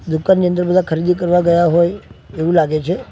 દુકાન ની અંદર બધા ખરીદી કરવા ગયા હોય એવું લાગે છે.